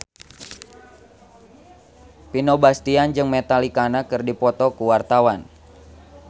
Vino Bastian jeung Metallica keur dipoto ku wartawan